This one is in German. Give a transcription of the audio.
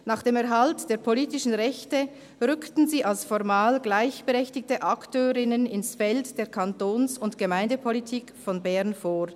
Nach dem Erhalt der politischen Rechte rückten sie als formal gleichberechtigte Akteurinnen ins Feld der Kantons- und Gemeindepolitik von Bern vor.